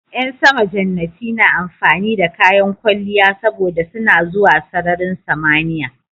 Ƴan sama jannati na amfani da kayan kwalliya saboda suna zuwa sararin samaniya